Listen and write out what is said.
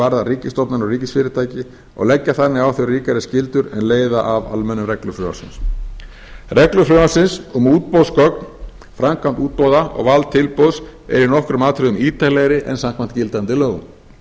varðar ríkisstofnanir og ríkisfyrirtæki og leggja þannig á þau ríkari skyldur en leiða af almennum reglum frumvarpsins reglur frumvarpsins um útboðsgögn framkvæmd útboða og val tilboðs eru í nokkrum atriðum ítarlegri en samkvæmt gildandi lögum